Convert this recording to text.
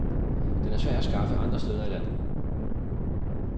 Den er svær at skaffe andre steder i landet.